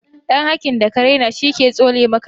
Dan hakin da ka raina shi ke tsone maka ido